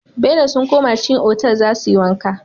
Bello sun koma cikin otal zasuyi wanka